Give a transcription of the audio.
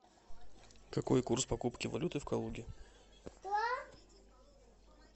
какой курс покупки валюты в калуге